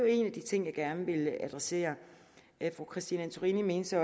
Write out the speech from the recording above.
en af de ting jeg gerne ville adressere fru christine antorini mente så